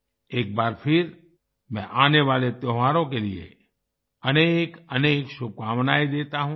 एक बार फिर मैं आने वाले त्योहारों के लिए अनेकअनेक शुभकामनाएं देता हूँ